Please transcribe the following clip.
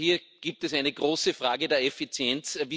Also hier gibt es eine große Frage der Effizienz.